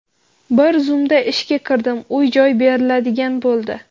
Bir zumda ishga kirdim, uy-joy beriladigan bo‘ldi.